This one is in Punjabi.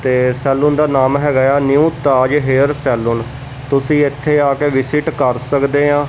ਤੇ ਸੈਲੂਨ ਦਾ ਨਾਮ ਹੈਗਾ ਏ ਆ ਨਿਊ ਤਾਜ ਹੇਅਰ ਸੈਲੂਨ ਤੁਸੀਂ ਇੱਥੇ ਆਂ ਕੇ ਵਿਸਿਟ ਕਰ ਸਕਦੇ ਆਂ।